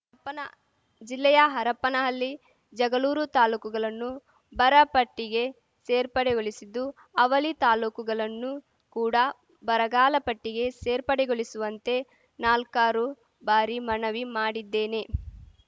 ಪ್ಪನ ಜಿಲ್ಲೆಯ ಹರಪನಹಲ್ಲಿ ಜಗಲೂರು ತಾಲೂಕುಗಲನ್ನು ಬರಪಟ್ಟಿಗೆ ಸೇರ್ಪಡೆಗೊಳಿಸಿದ್ದು ಅವಲಿ ತಾಲೂಕುಗಲನ್ನು ಕೂಡ ಬರಗಾಲ ಪಟ್ಟಿಗೆ ಸೇರ್ಪಡೆಗೊಲಿಸುವಂತೆ ನಾಲ್ಕಾರು ಬಾರಿ ಮನವಿ ಮಾಡಿದ್ದೇನೆ